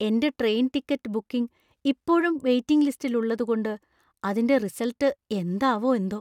എന്‍റെ train ticket booking ഇപ്പോഴും waiting ലിസ്റ്റില്‍ ഉള്ളതുകൊണ്ട് അതിന്‍റെ റിസള്‍ട്ട് എന്താവോ എന്തോ.